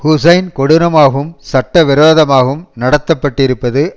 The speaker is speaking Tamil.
ஹூசைன் கொடூரமாகவும் சட்ட விரோதமாகவும் நடத்தப்பட்டிருப்பது